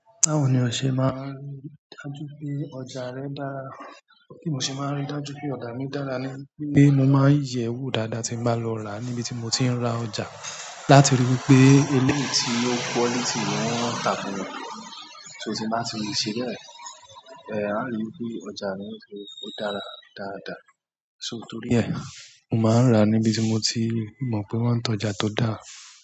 Báwo ni o ṣe máa ń rí dájú pé ọjà rẹ dára. Bí mo ṣe máa ń ríi dájú pé ọjà mi dára ni pé mo máa ń yẹ̀ ẹ́ wò dáadáa tí n bá lọ ràá níbi tí mo ti ń ra ọjà. Láti ri wípé ilé tí ó quality ni wọ́n tà fún mi. So, tí n bá ti ri ṣe bẹ́ẹ̀, aá ri wípé ọjà yẹn ṣe, ó dára dáadáa. So torí ẹ̀, mo máa ń ràá níbi tí mo ti mọ̀ pé wọ́n ń tọjà tó dáa.